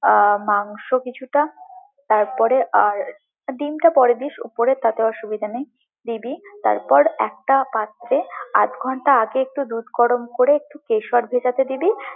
আহ মাংস কিছুটা তারপরে আর ডিমটা পরে দিস উপরে কোনো অসুবিধে নেই, দিবি, তারপর একটা পাত্রে আধঘন্টা আগে একটু দুধ গরম করে একটু কেশর ভেজাতে দিবি।